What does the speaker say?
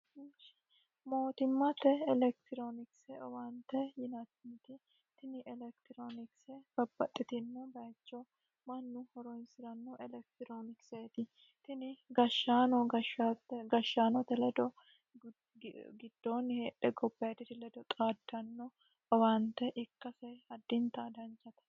mootimmate elekitiroonikise owaante yinaniti tini elekitiroonikise babbaxxitino bayicho mannu horoyisi'ranno elektiroonikiseeti tini gashaano gashshaanote ledo giddoonni heedhe gobayidiri ledo xaaddanno owaante ikkase addinta danchate